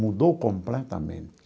Mudou completamente.